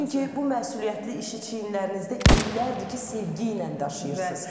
Çünki bu məsuliyyətli işi çiynlərinizdə illərdir ki, sevgi ilə daşıyırsız.